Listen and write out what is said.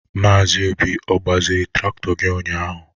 Maazi Obi ọ gbazịrị trakịtọ gị ụnyaahụ?